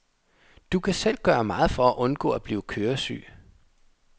Du kan selv gøre meget for at undgå at blive køresyg.